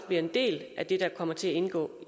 bliver en del af det der forhåbentlig kommer til at indgå